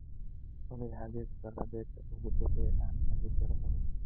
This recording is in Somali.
olly xagee ku taal beerta ugu dhow ee aan aadi karo orod